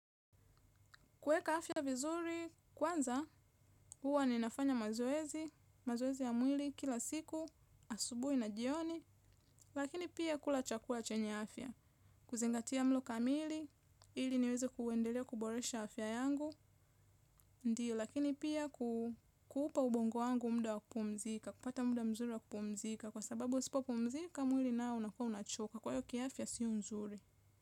Kuweka afya vizuri, kwanza huwa ninafanya mazoezi, mazoezi ya mwili kila siku, asubuhi na jioni, lakini pia kula chakula chenye afya. Kuzingatia mlo kamili, ili niwezi kuendelea kuboresha afya yangu, ndio. Lakini pia kuupa ubongo wangu muda wa kupumzika, kupata muda mzuri wa kupumzika, kwa sababu nisipopumzika, mwili nao unakuwa unachoka, kwa hio kiafya sio nzuri.